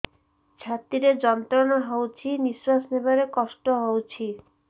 ଛାତି ରେ ଯନ୍ତ୍ରଣା ହଉଛି ନିଶ୍ୱାସ ନେବାରେ କଷ୍ଟ ହଉଛି